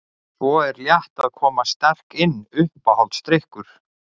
Svo er Létt að koma sterk inn Uppáhaldsdrykkur?